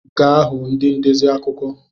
Ga hụ ndị ndezi akụkọ!